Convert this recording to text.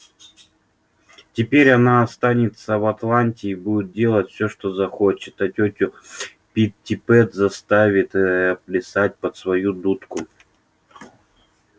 теперь она останется в атланте и будет делать всё что захочет а тётю питтипэт заставит ээ плясать под свою дудку